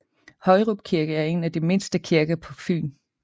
Højrup kirke er en af de mindste kirker på Fyn